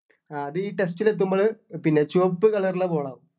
അത് ഈ test ലെത്തുമ്പോള് പിന്നെ ചുവപ്പ് colour ലുള്ള ball ആവും